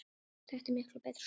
Þetta er miklu betra svona.